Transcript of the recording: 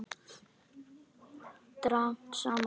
Dragast saman.